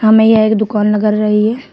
हमें यह एक दुकान रही है।